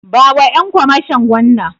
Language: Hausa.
Bawa Ƴan kwamashon wannan.